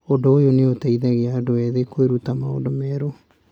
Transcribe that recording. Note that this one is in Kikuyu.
Ũndũ ũyũ nĩ ũteithagia andũ ethĩ kwĩruta maũndũ merũ.